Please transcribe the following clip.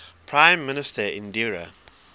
prime minister indira